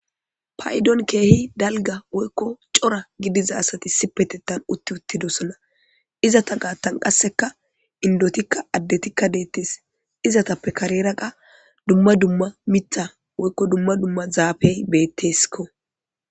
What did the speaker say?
paydon keehi dalga woykko cora gidiza asati si petetan utti uttidosona izata gaattan qasseka indotikka addetikka deettes izatappe kareraqa dumma dumma mitha woykko dumma dumma zaafey bettesko